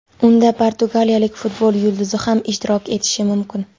Unda portugaliyalik futbol yulduzi ham ishtirok etishi mumkin.